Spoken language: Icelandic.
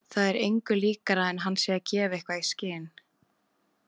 Það er engu líkara en hann sé að gefa eitthvað í skyn.